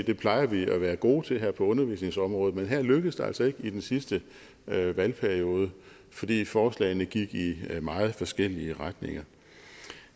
det plejer vi jo at være gode til her på undervisningsområdet men her lykkedes det altså ikke i den sidste valgperiode fordi forslagene gik i meget forskellige retninger